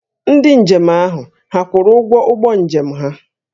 Ndị njem ahụ hà kwụrụ ụgwọ ụgbọ njem ha?